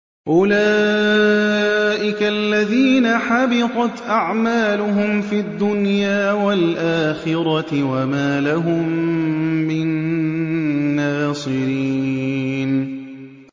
أُولَٰئِكَ الَّذِينَ حَبِطَتْ أَعْمَالُهُمْ فِي الدُّنْيَا وَالْآخِرَةِ وَمَا لَهُم مِّن نَّاصِرِينَ